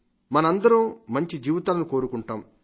మనం అందరం మంచి జీవితాలను కోరుకుంటాం